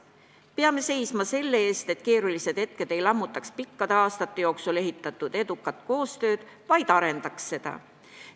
Peame seisma selle eest, et keerulised hetked ei lammutaks pikkade aastate jooksul ehitatud edukat koostööd, vaid arendaks seda.